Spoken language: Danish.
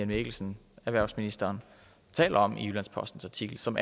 det som erhvervsministeren taler om i jyllands postens artikel som